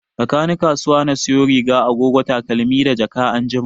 Rakani kasuwa na sayo riga, agogo, takalmi da jaka anjima